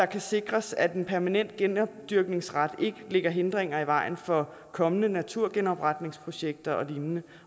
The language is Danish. kan sikres at den permanente genopdyrkningsret ikke lægger hindringer i vejen for kommende naturgenopretningsprojekter og lignende